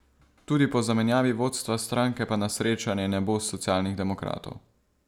Tudi po zamenjavi vodstva stranke pa na srečanje ne bo Socialnih demokratov.